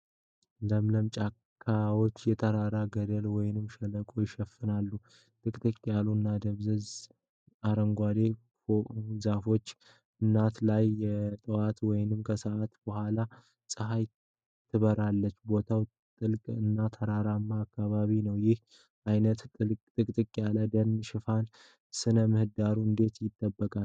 ለምለም ጫካዎች የተራራ ገደል ወይም ሸለቆ ይሸፍናሉ። ጥቅጥቅ ያሉ እና ደብዛዛ አረንጓዴ ዛፎች አናት ላይ የጠዋት ወይም ከሰዓት በኋላ ፀሐይ ትበራለች። ቦታው ጥልቅ እና የተራራማ አካባቢ ነው። ይህ ዓይነቱ ጥቅጥቅ ያለ የደን ሽፋን ሥነ-ምህዳሩን እንዴት ይጠብቃል?